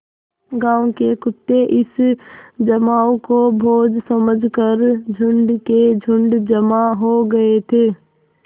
गाँव के कुत्ते इस जमाव को भोज समझ कर झुंड के झुंड जमा हो गये थे